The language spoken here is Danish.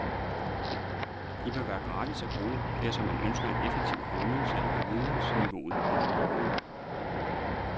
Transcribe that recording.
De bør være gratis at bruge, dersom man ønsker en effektiv højnelse af vidensniveauet hos borgerne.